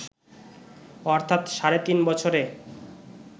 অর্থাৎ সাড়ে তিন বছরে